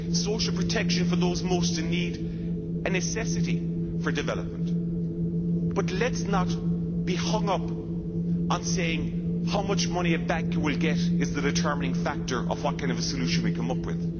Social protection for those most in need is a necessity for development, but let us not be hung up on saying how much money a banker will get is the determining factor of what kind of a solution we come up with.